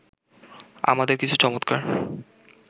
আমাদের কিছু চমৎকার